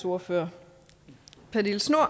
ordfører